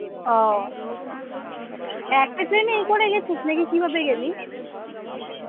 আহ একটা train এই করে গেছিস নাকি কিভাবে গেলি?